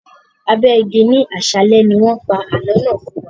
Abẹ igi ni àsálẹ́ ni wọn pa àálọ́ náà fún wa.